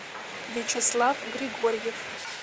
вячеслав григорьев